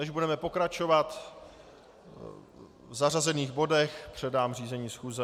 Než budeme pokračovat v zařazených bodech, předám řízení schůze.